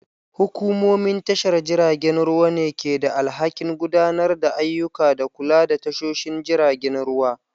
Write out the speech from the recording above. Hukumomin tashar jiragen ruwa ne ke da alhakin gudanar da ayyuka da kula da tashoshin jiragen ruwa.